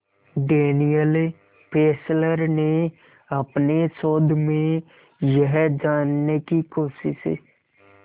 Daniel Fessler ने अपने शोध में यह जानने की कोशिश